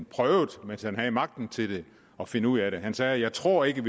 prøvet mens han havde magten til det at finde ud af det han sagde jeg tror ikke at